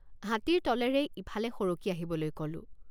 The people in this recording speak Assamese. হাতীৰ তলেৰে ইফালে সৰকি আহিবলৈ কলোঁ।